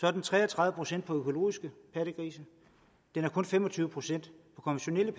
er tre og tredive procent for økologiske pattegrise den er kun fem og tyve procent